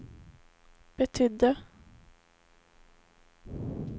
betydde